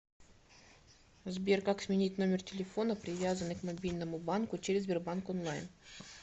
сбер как сменить номер телефона привязанный к мобильному банку через сбербанк онлайн